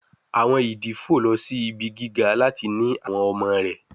Àwọn ìdí fò lọ sì ibí gíga láti ní àwọn ọmọ rẹ